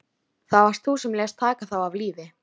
Það varst þú sem lést taka þá af lífi.